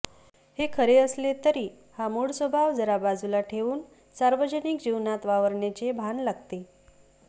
हे खरे असले तरी हा मूळ स्वभाव जरा बाजूला ठेवून सार्वजनिक जीवनात वावरण्याचे भान लागते